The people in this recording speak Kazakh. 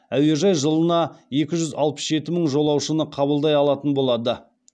әуежай жылына екі жүз алпыс жеті мың жолаушыны қабылдай алатын болады